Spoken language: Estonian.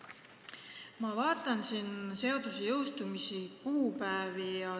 Ma vaatan jõustumiskuupäevi.